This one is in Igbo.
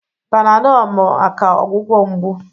Panadolụ bụ maka ọgwụgwọ mgbu.